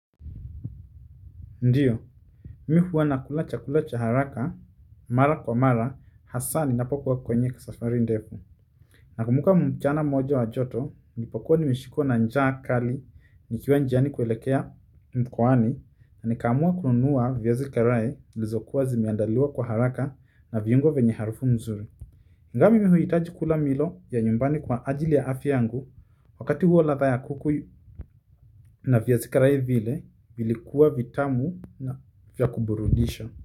Ndiyo, mimi huwa nakula cha kula cha haraka, mara kwa mara, hasa ninapokuwa kwenye safari ndefu. Nakumbuka mchana moja wa joto nilipokuwa nimeshikwa na njaa kali nikiwa njiani kuelekea mkoani nikaamua kununua viazi karai zilizokuwa zimeandaliwa kwa haraka na viungo vyenye harufu nzuri ingawa mimi huhitaji kula milo ya nyumbani kwa ajili ya afya yangu, wakati huo ladha ya kuku na viazi karai vile vilikuwa vitamu na vya kuburudisha.